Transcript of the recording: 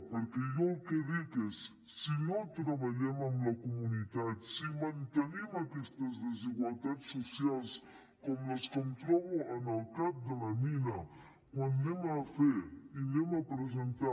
perquè jo el que dic és si no treballem en la comunitat si mantenim aquestes desigualtats socials com les que em trobo en el cap de la mina quan anem a fer i anem a presentar